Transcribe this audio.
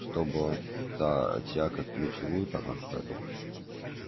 чтобы он тебя как плечевую там отжарил